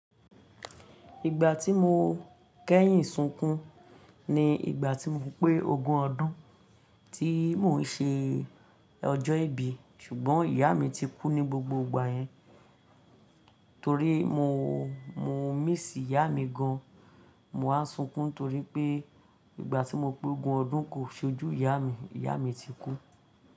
Ìgbà tí mo kẹ́yìn sunkun ni ìgbà tí mo pé ogún ọdún tí mò ń ṣe ọjọ́ ìbí ṣùgbọ́n ìyá mi ti kú ní gbogbo ìgbà yẹn. Torí mo, mo miss ìyá mi gan. Mo máa ń sunkún torí pé ìgbà tí mo pé ogún ọdún kò ṣojú ìyá mi, ìyá mi ti kú.